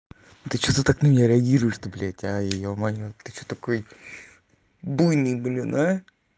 ты что-то так не реагируешь ты блять а ты что такой буйный блина